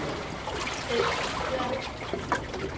Esben Kjær